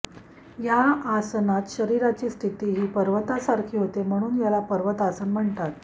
या आसनात शरीराची स्थिती ही पर्वतासारखी होते म्हणून याला पर्वतासन म्हणतात